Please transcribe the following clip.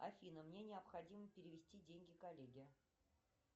афина мне необходимо перевести деньги коллеге